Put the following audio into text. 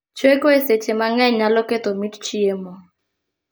Chweko e seche mang'eny nyalo ketho mit chiemo